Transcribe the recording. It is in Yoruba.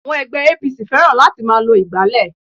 Àwọn ègbé APC fẹ́ràn láti máa lo ìgbálè